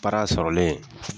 sɔrɔlen